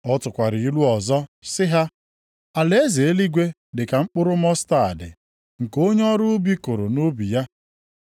Ọ tụkwara ilu ọzọ sị ha, “Alaeze eluigwe dị ka mkpụrụ mọstaadị nke onye ọrụ ubi kụrụ nʼubi ya.